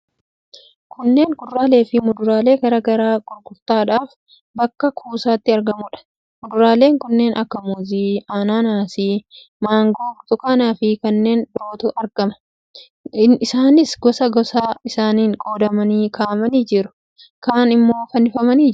Kunneen kuduraaleefi muduraalee garaa garaa gurgurtaadhaaf bakka kuusaatti argamuudha. Muduraalee kanneen akka muuzii, anaanaasii, mangoo, burtukaanaafi kanneen birootu argama. Isaanis gosa gosa isaaniin qoodamanii kaa'amanii jiru. Kaan immoo fannifamanii jiru.